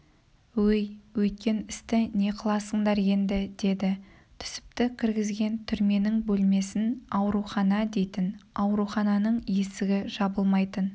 өй өткен істі не қыласыңдар енді деді түсіпті кіргізген түрменің бөлмесін аурухана дейтін аурухананың есігі жабылмайтын